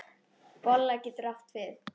Bolla getur átt við